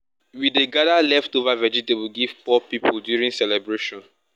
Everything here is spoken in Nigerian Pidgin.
we dey gather leftover vegetable give poor people during celebration.